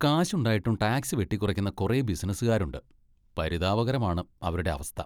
കാശുണ്ടായിട്ടും tax വെട്ടിക്കുന്ന കുറെ ബിസിനസുകാരുണ്ട്, പരിതാപകരമാണ് അവരുടെ അവസ്ഥ.